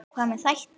Hvað með þætti?